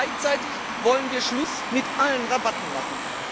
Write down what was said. Gleichzeitig wollen wir Schluss mit allen Rabatten machen.